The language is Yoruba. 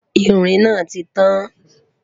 ìrìn nà títàn